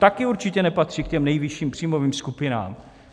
Také určitě nepatří k těm nejvyšším příjmovým skupinám.